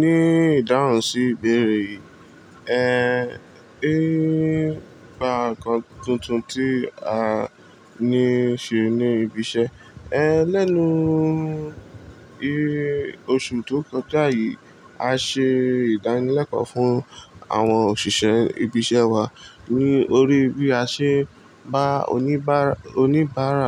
Ní ìdáhùn sí ìbéèrè yii. Bá nǹkan tuntun tí a ní ṣe ní ibi iṣẹ́ ẹ lẹ́nu oṣù tó kọjá yìí, a ṣe ìdánilẹ́kọ̀ọ́ fún àwọn òṣìṣẹ́ ibi iṣẹ́ wa ní orí bí a ṣe bá oníbàárà, oníbàárà